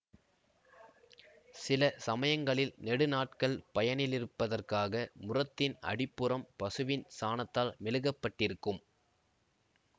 சில சமயங்களில் நெடுநாட்கள் பயனிலிருப்பதற்காக முறத்தின் அடிப்புறம் பசுவின் சாணத்தால் மெழுகப்பட்டிருக்கும்